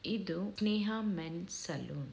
''ಇದು Neha men's salon .''